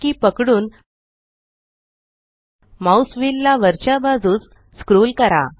SHIFT key पकडून mouse wheel ला वरच्या बाजूस स्क्रोल करा